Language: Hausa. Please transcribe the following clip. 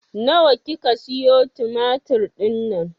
Nawa kika siyo tumatir dinnan?